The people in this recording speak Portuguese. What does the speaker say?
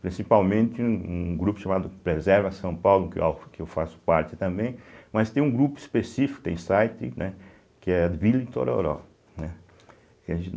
Principalmente um um grupo chamado Preserva São Paulo, que é o que eu faço parte também, mas tem um grupo específico, tem site né, que é Vila Itororó, né.